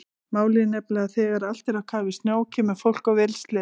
Málið er nefnilega að þegar allt er á kafi í snjó kemur fólk á vélsleðum.